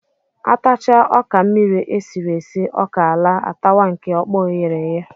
A tachaa ọka mmiri e siri esi, ọka laa, a tawa nke ọkpọọ e ghere eghe